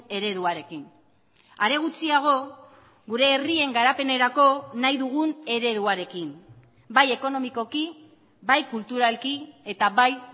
ereduarekin are gutxiago gure herrien garapenerako nahi dugun ereduarekin bai ekonomikoki bai kulturalki eta bai